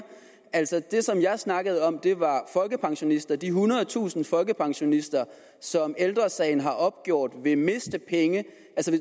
altså det som jeg snakkede om var folkepensionister de ethundredetusind folkepensionister som ældre sagen har opgjort vil miste penge